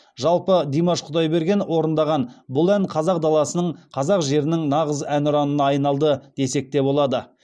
жалпы димаш құдайберген орындаған бұл ән қазақ даласының қазақ жерінің нағыз әнұранына айналды десек те болады